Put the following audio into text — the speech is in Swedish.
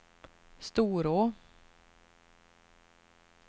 Storå